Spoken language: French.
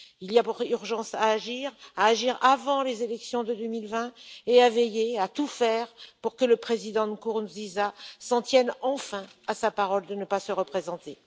Il y a urgence à agir, à agir avant les élections de 2020 et à tout faire pour que le président Nkurunziza s'en tienne enfin à sa parole de ne pas se représenter.